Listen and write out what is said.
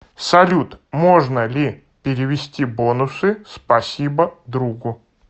салют можно ли перевести бонусы спасибо другу